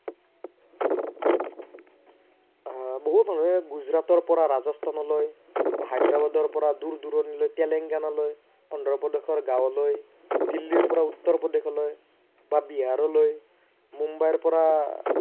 আহ বহু মানুহে গুজৰাটৰ পৰা ৰাজস্থানলৈ, হায়দেৰাবাদৰ পৰা দূৰ দূৰনিলৈ টেলেংগানালৈ, অন্ধ্ৰপ্ৰদেশৰ গাৱলৈ, দিল্লীৰ পৰা উত্তৰপ্ৰদেশলৈ বা বিহাৰলৈ, মুম্বাইৰ পৰা